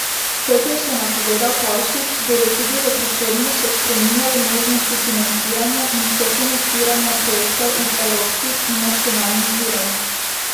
Kot je še napovedal Pavšič, bodo tudi v prihodnje še spremljali možnosti financiranja in sofinanciranja projektov iz evropskih in nacionalnih virov.